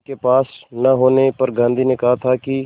उनके पास न होने पर गांधी ने कहा था कि